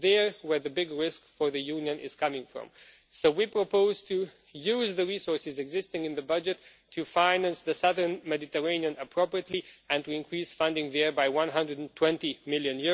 It is there that the big risk for the Union is coming from. So we propose to use the resources existing in the budget to finance the southern Mediterranean appropriately and to increase funding there by EUR 120 million.